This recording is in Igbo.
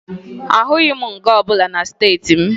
Ahụghị m nga ọbụla na steeti m